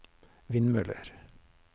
vindmøller